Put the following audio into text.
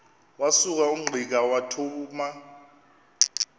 wasuka ungqika wathuma